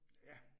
Ja